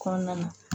Kɔnɔna na